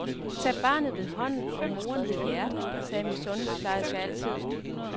Tag barnet ved hånden og moren ved hjertet, sagde min sundhedsplejerske altid.